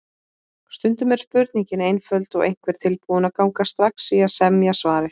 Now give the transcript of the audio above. Stundum er spurningin einföld og einhver tilbúinn að ganga strax í að semja svarið.